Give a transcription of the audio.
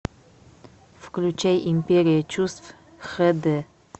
включай империя чувств хэ дэ